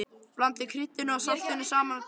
Blandið kryddinu og saltinu saman á disk.